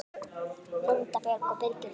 Linda Björg og Birgir Þór.